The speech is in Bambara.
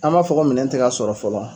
An b'a fɔ ko minɛn tɛ ka sɔrɔ fɔlɔ.